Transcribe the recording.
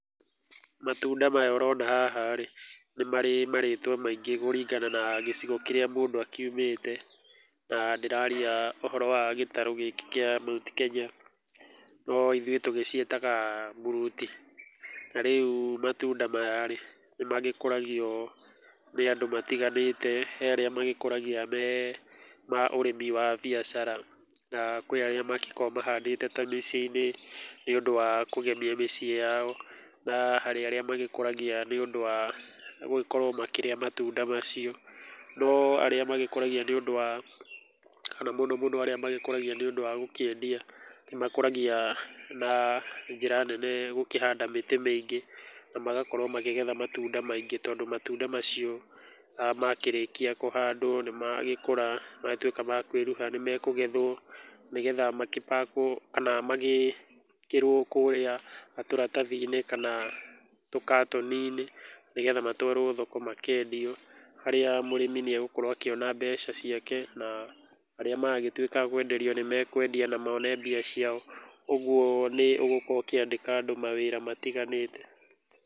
Matunda maya ũrona haha rĩ, nĩ marĩ marĩtwa maingĩ kũringana na gĩcigo kĩrĩa mũndũ akiumĩte. Na ndĩraria ũhoro wa gĩtarũ gĩkĩ kĩa Mount Kenya. No ithuĩ tũgĩciĩtaga mburuti. Na rĩu matunda maya rĩ, nĩ magĩkũragio nĩ andũ matiganĩte, he arĩa magĩkũragia me ma ũrĩmi wa biacara na kwĩ arĩa mangĩkorwo mahandĩte ta mĩciĩ-inĩ nĩ ũndũ wa kũgemia mĩciĩ yao, na harĩ arĩa magĩkũragia nĩ ũndũ wa gũgĩkorwo makĩrĩa matunda macio. No arĩa magĩkũragia nĩ ũndũ wa kana mũno mũno arĩa magĩkũragia nĩ ũndũ wa gũkĩendia, nĩ makũragia na njĩra nene gũkĩhanda mĩtĩ mĩingĩ na magakorwo makĩgetha matunda maingĩ. Tondũ matunda macio makĩrĩkia kũhandwo nĩ magĩkũra, matuĩka ma kweruha, nĩmekũgethwo makĩ packed, kana magĩkĩrwo kũrĩa tũratathi-inĩ kana tũkatoni-inĩ nĩgetha matwarwo thoko makendio. Harĩa mũrĩmi nĩ egũkorwo akĩona mbeca ciake na arĩa maragĩtuĩka a kwenderio nĩ mekwendia na mone mbia ciao. Ũguo nĩ ũgũkorwo ũkĩandĩka andũ mawĩra matiganĩte.